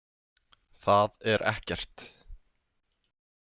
Það er ekkert